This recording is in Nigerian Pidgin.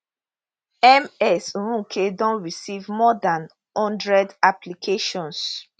ms nweke don receive more dan hundred applications